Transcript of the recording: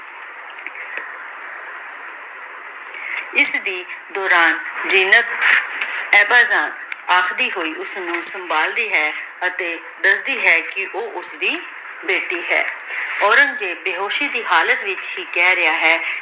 ਇਸਦੀ ਆਖਦੀ ਹੋਈ ਓਸਨੂ ਸੰਭਾਲਦੀ ਹੈ ਅਤੀ ਦਸਦੀ ਹੈ ਕੀ ਊ ਓਸਦੀ ਬੇਟੀ ਹੈ ਔਰੇਨ੍ਗ੍ਜ਼ੇਬ ਬੇਸ਼ੋਸ਼ੀ ਦੀ ਹਾਲਤ ਵਿਚ ਈ ਕਹ ਰਿਹਾ ਹੈ